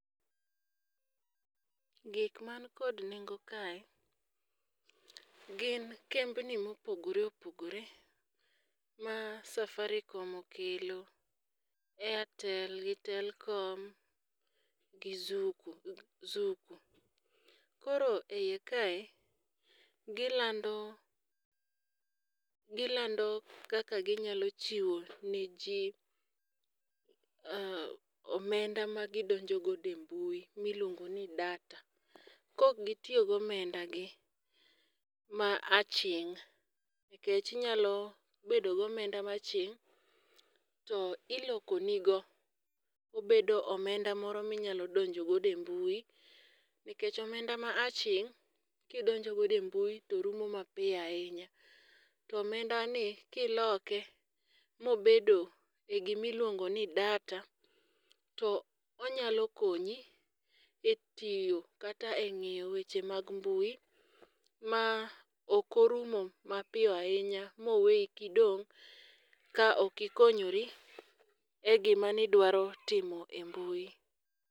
Gik man kod nengo kae gin kembni mopogre opogore ma safarikom okelo, airtel gi telkom gi zuku zuku. Koro e iye kae gilando gilando kaka ginyalo chiwo ne jii omenda ma gidonjo gode mbui miluongo ni data Kok gitiyo gi omenda gi ma aching' .Nikech bedo gomenda ma aching' to iloko ni go obedo omenda moro minyalo donjo gode mbui nikech omenda ma aching' kidonjo gode mbui to rumo mapiyo ahinya to omenda ni kiloke mobedo gimiluongo ni data . To onyalo konyi e tiyo kata e ng'iyo weche mag mbui ma okorumo mapiyo ahinya moweyi kidong' ka ok ikonyori e gima nidwaro timo e mbui.